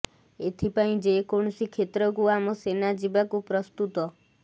ଏଥି ପାଇଁ ଯେକୌିଣସି କ୍ଷେତ୍ରକୁ ଆମ ସେନା ଜିବାକୁ ପ୍ରସ୍ତୁତ